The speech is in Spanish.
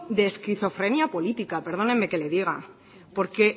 de esquizofrenia política perdónenme que le diga porque